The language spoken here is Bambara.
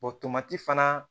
O tomati fana